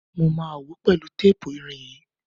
Mo máa wòó pẹ̀lú tépù irin yìí.